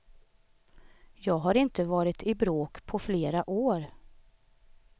Jag har inte varit i bråk på flera år.